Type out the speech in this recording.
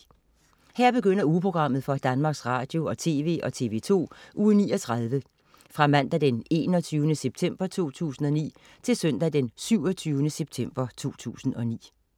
Her begynder ugeprogrammet for Danmarks Radio- og TV og TV2 Uge 39 Fra Mandag den 21. september 2009 Til Søndag den 27. september 2009